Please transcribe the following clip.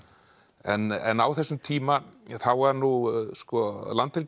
en á þessum tíma þá var nú